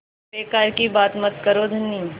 बेकार की बात मत करो धनी